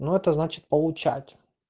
ну это значит получать